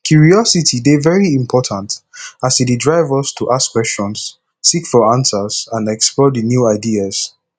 curiosity dey very important as e dey drive us to ask questions seek for answers and explore di new ideas